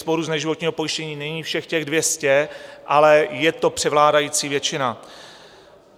Sporů z neživotního pojištění není všech těch 200, ale je to převládající většina.